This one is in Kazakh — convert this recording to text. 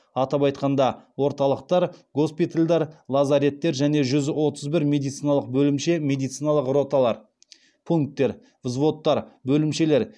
атап айтқанда орталықтар госпитальдар лазареттер және жүз отыз бір медициналық бөлімше медициналық роталар пункттер взводтар бөлімшелер